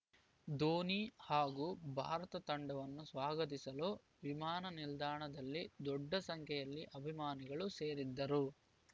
ಧೋನಿ ಹಾಗೂ ಭಾರತ ತಂಡವನ್ನು ಸ್ವಾಗತಿಸಲು ವಿಮಾನ ನಿಲ್ದಾಣದಲ್ಲಿ ದೊಡ್ಡ ಸಂಖ್ಯೆಯಲ್ಲಿ ಅಭಿಮಾನಿಗಳು ಸೇರಿದ್ದರು